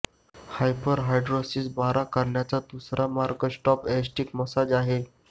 hyperhidrosis बरा करण्याचा दुसरा मार्ग स्टॉप एसेटिक मसाज आहे